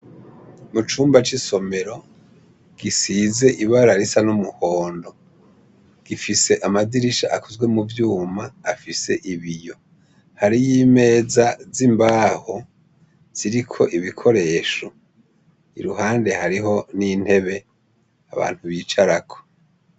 Icumba c' isomero, gisize ibara risa n' umuhondo. Gifise amadirisha akozwe mu vyuma afise ibiyo. Hariyo imeza z'imbaho ziriko ibikoresho, iruhande hariho n' intebe abantu bicarako.